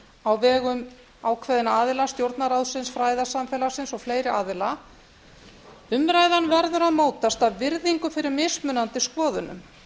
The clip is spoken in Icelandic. á vegum ákveðinna aðila stjórnarráðsins fræðasamfélagsins og fleiri aðila umræðan verður að mótast af virðingu fyrir mismunandi skoðunum